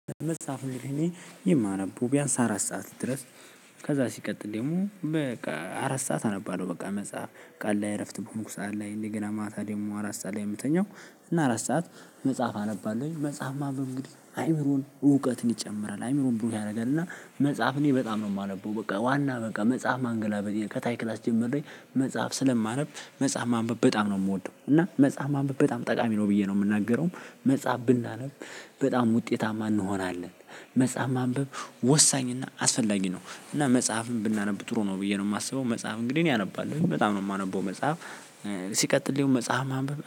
መጽሐፍ እኔ የማነበው ቢያንስ አራት ሰዓት ድረስ ከዛ ሲቀጥል ደግሞ በቃ አራት ሰዓት አነባለሁ። በቃ መጽሐፍ ቀን ላይ እረፍት በሆንኩ ሰዓት ላይ እንደገና ማታ ደግሞ አራት ሰዓት ላይ ምተኛው እና አራት ሰዓት መጽሐፍ አነባለሁኝ መጽሐፍ ማንበብ እንግዲህ አይምሮን እውቀትን ይጨምራል አይምሮን ብሩህ ያደርጋል። እና መጽሐፍ እኔ በጣም ነው ማነበው። በቃ ዋና በቃ መጽሐፍ ማንገላበጥ ከታይ ክላስ ጀምሬ መጽሐፍ ስለማነብ መጽሐፍ ማንበብ በጣም ነው ምወደው። እና መጽሐፍ ማንበብ በጣም ጠቃሚ ነው ብዬ ነው ምናገረውም። መጽሐፍ ብናነብ በጣም ውጤታማ እንሆናለን። መጽሐፍ ማንበብ ወሳኝና አስፈላጊ ነው እና መጽሐፍን ብናነብ ጥሩ ነው ብዬ ነው ማስበው። መጽሐፍ እንግዲህ እኔ አነባለሁኝ በጣም ነው የማነበው መጽሐፍ። ሲቀጥል መጽሐፍ ማንበብ